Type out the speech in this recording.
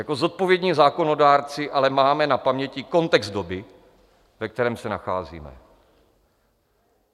Jako zodpovědní zákonodárci ale máme na paměti kontext doby, ve kterém se nacházíme.